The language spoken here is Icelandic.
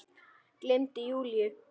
Gleymdi Júlíu.